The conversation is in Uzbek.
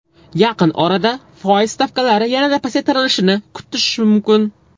Yaqin orada foiz stavkalari yanada pasaytirilishini kutish mumkin.